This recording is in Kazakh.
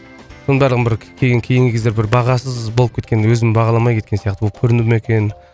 бәрін бір кейін кейінгі кезде бір бағасыз болып кеткен өзім бағаламай кеткен сияқты болып көрінді ме екен